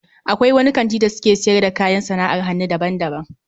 Akwai wani kanti da suke siyar da kayan sana'ar hannu daban-daban